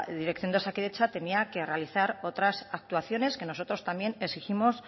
dirección de osakidetza tenía que realizar otras actuaciones que nosotros también exigimos